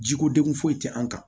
Jiko degun foyi tɛ an kan